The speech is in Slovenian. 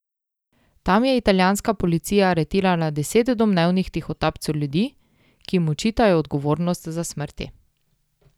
Tam je italijanska policija aretirala deset domnevnih tihotapcev ljudi, ki jim očitajo odgovornost za smrti.